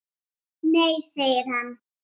Nei segir hann.